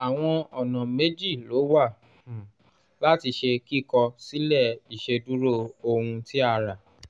àwọn ọ̀nà méjì ló wà um láti ṣe kíkọ sílè ìṣèdúró ohun tí a ra